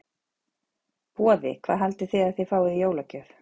Boði: Hvað haldið þið að þið fáið í jólagjöf?